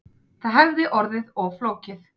Það hefði orðið of flókið